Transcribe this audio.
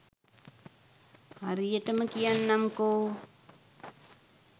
හරියටම කියන්නම්කෝ.